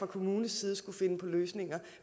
kommunens side skulle finde på løsninger